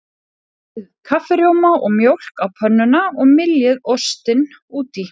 Bætið kaffirjóma og mjólk á pönnuna og myljið ostinn út í.